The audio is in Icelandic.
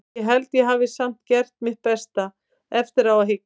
Ég held að ég hafi samt gert mitt besta, eftir á að hyggja.